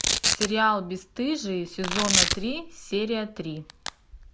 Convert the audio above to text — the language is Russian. сериал бесстыжие сезона три серия три